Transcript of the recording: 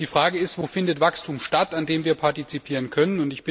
Und die Frage ist Wo findet Wachstum statt, an dem wir partizipieren können?